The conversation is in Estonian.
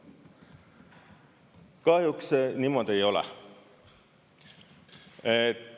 Kahjuks see nii ei ole.